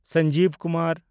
Sanjeev Kumar